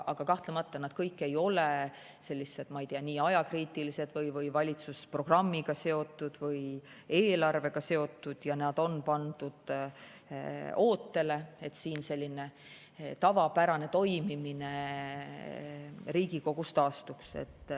Aga kahtlemata nad kõik ei ole sellised, ma ei tea, ajakriitilised või valitsusprogrammiga seotud või eelarvega seotud ja nad on pandud ootele, et tavapärane toimimine Riigikogus taastuks.